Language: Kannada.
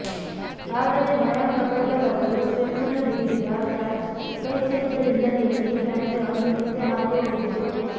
ಆದರೆ ಮಾಯಾಂಕ್ ಅಗರ್ವಾಲ್ ಅವರು ಸ್ಲಿಪ್ನಲ್ಲಿ ನೀಡಿದ್ದ ಕ್ಯಾಚ್ ಕೈ ಚೆಲ್ಲಿದ ಹಿನ್ನೆಲೆಯಲ್ಲಿ ನನಗೆ ಅಂದು ನಿದ್ದೆ ಹಾರಿ ಹೋಗಿತ್ತು